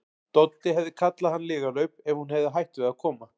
Doddi hefði kallað hann lygalaup ef hún hefði hætt við að koma.